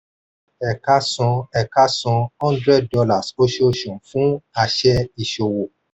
ẹ̀ka san ẹ̀ka san hundred dollars oṣooṣù fún àṣẹ ìṣòwò.